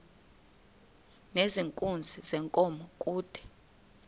nezenkunzi yenkomo kude